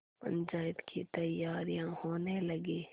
पंचायत की तैयारियाँ होने लगीं